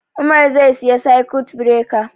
Umar zai siya circuit breaker